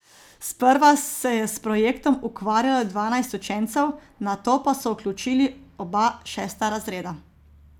Sprva se je s projektom ukvarjalo dvanajst učencev, nato pa so vključili oba šesta razreda.